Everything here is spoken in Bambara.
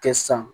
Kɛ san